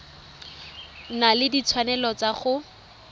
na le ditshwanelo tsa go